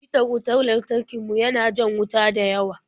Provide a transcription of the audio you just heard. Hitar wutar lantarki mu ya na jan wuta dayawa.